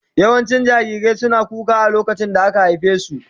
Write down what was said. Yawancin jarirai suna kuka a lokacin da aka haife su.